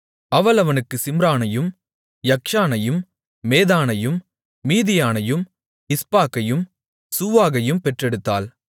அவள் அவனுக்குச் சிம்ரானையும் யக்க்ஷானையும் மேதானையும் மீதியானையும் இஸ்பாக்கையும் சூவாகையும் பெற்றெடுத்தாள்